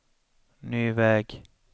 ny väg